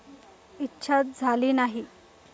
इच्छाच झाली नाही.